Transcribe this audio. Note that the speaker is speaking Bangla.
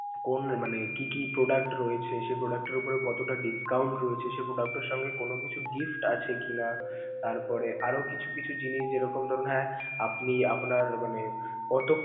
কোন মানে কি কি product রয়েছে, সে product টার উপরে কতটা discount রয়েছে, সে product টার সঙ্গে কোনো কিছু gift আছে কি না, তারপরে আরও কিছু কিছু জিনিস যেরকম ধরুন হ্যা আপনি আপনার মানে কত.